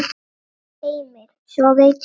Heimir: Sofið í tjöldum?